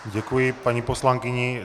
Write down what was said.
Děkuji paní poslankyni.